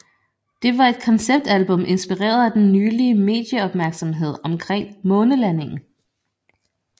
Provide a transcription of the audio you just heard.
Det var et konceptalbum inspireret af den nylige medieopmærksomhed omkring månelandingen